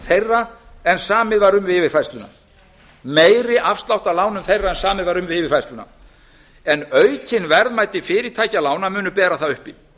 þeirra en samið var um við yfirfærsluna en aukin verðmæti fyrirtæki lána munu bera það uppi